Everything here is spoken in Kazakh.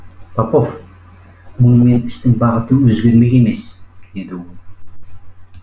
попов мұнымен істің бағыты өзгермек емес деді ол